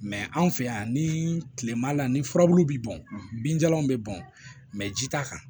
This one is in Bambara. anw fɛ yan ni tilema la ni furabulu bɛ bɔn binjalan bɛ bɔn ji t'a kan